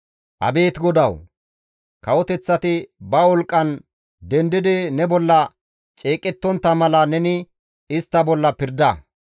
Abeet GODAWU! Kawoteththati ba wolqqan dendidi ne bolla ceeqettontta mala neni istta bolla pirda.